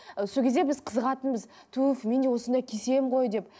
ы сол кезде біз қызығатынбыз туф мен де осындай кисем ғой деп